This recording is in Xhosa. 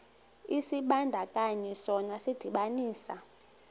isibandakanyi sona sidibanisa